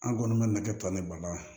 An kɔni bɛ nakɛ tɔ ni bala